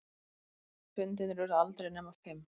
Fundirnir urðu aldrei nema fimm.